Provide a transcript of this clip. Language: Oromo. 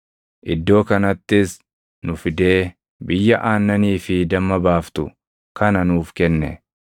Iddoo kanattis nu fidee biyya aannanii fi damma baaftu kana nuuf kenne;